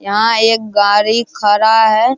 यहाँ एक गाड़ी खड़ा है ।